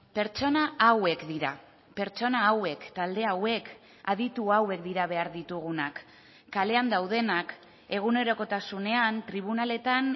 pertsona hauek dira pertsona hauek talde hauek aditu hauek dira behar ditugunak kalean daudenak egunerokotasunean tribunaletan